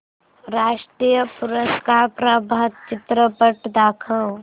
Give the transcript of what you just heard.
राष्ट्रीय पुरस्कार प्राप्त चित्रपट दाखव